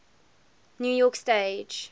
new york stage